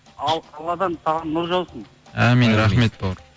ал қыбыладан саған нұр жаусын амин рахмет бауырым